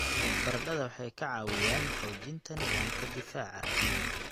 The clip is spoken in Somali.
Baradhada waxay ka caawiyaan xoojinta nidaamka difaaca.